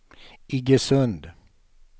Iggesund